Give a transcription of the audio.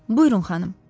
Buyurun, xanım.